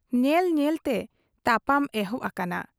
ᱧᱮᱞ ᱧᱮᱞᱛᱮ ᱛᱟᱯᱟᱢ ᱮᱦᱚᱵ ᱟᱠᱟᱱᱟ ᱾